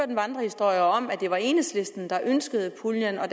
en vandrehistorie om at det var enhedslisten der ønskede puljen og at